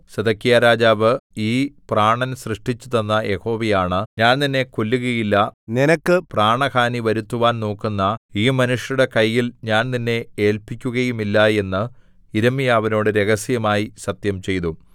സിദെക്കീയാരാജാവ് ഈ പ്രാണൻ സൃഷ്ടിച്ചുതന്ന യഹോവയാണ ഞാൻ നിന്നെ കൊല്ലുകയില്ല നിനക്ക് പ്രാണഹാനി വരുത്തുവാൻ നോക്കുന്ന ഈ മനുഷ്യരുടെ കയ്യിൽ ഞാൻ നിന്നെ ഏല്പിക്കുകയുമില്ല എന്ന് യിരെമ്യാവിനോട് രഹസ്യമായി സത്യംചെയ്തു